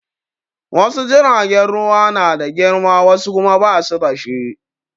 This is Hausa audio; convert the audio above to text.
Wasu jiragen ruwa na da girma wasu kuma ba su da shi.